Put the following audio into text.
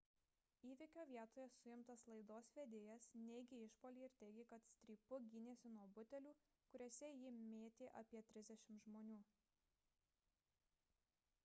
įvykio vietoje suimtas laidos vedėjas neigė išpuolį ir teigė kad strypu gynėsi nuo butelių kuriuos į jį mėtė apie trisdešimt žmonių